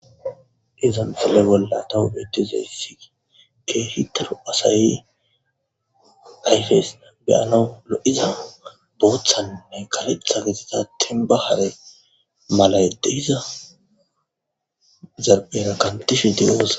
izan fule bolla tawu beetizayssii kee hitaru asayi hayfes beyana o7iza booththanne kaletha gesidatin ba hare malayedde iza zaera kantishe diyos